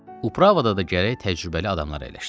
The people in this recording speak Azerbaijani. Upravada da gərək təcrübəli adamlar əyləşsinlər.